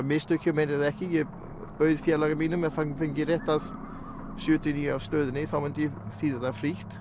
mistök hjá mér eða ekki ég bauð félaga mínum ef hann fengi rétt að sjötíu og níu af stöðinni þá myndi ég þýða það frítt